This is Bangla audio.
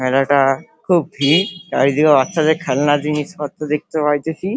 মেলাটা খুব ভিড় । চারিদিকে বাচ্ছাদের খেলনার জিনিসপত্র দেখতে পাইতেছি।